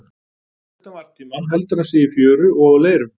Utan varptíma heldur hann sig í fjöru og á leirum.